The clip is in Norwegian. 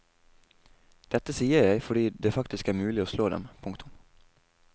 Dette sier jeg fordi det faktisk er mulig å slå dem. punktum